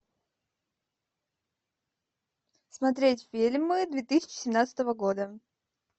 смотреть фильмы две тысячи семнадцатого года